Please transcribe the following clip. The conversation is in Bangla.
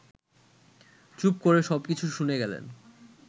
চুপ করে সব কিছু শুনে গেলেন